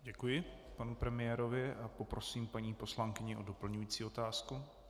Děkuji panu premiérovi a poprosím paní poslankyni o doplňující otázku.